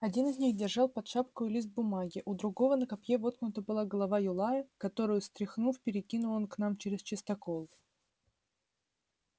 один из них держал под шапкою лист бумаги у другого на копье воткнута была голова юлая которую стряхнув перекинул он к нам чрез частокол